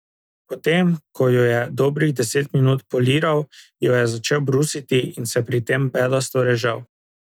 Potem ko jo je dobrih deset minut poliral, jo je začel brusiti in se pri tem bedasto režal.